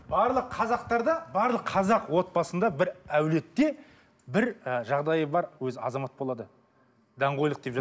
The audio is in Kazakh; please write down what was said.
барлық қазақтарда барлық қазақ отбасында бір әулиетте бір ы жағдайы бар өзі азамат болады даңғойлық деп